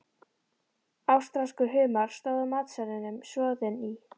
Ástralskur humar, stóð á matseðlinum, soðinn í